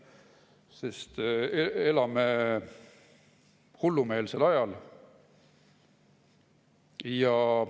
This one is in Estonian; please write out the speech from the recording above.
Sest me elame hullumeelsel ajal.